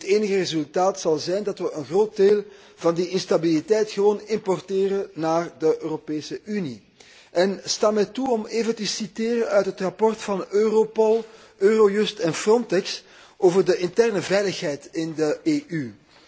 Nu, het enige resultaat zal zijn dat we een groot deel van die instabiliteit gewoon importeren naar de Europese Unie. Sta mij toe om even te citeren uit het rapport van Europol, Eurojust en Frontex over de interne veiligheid in de EU.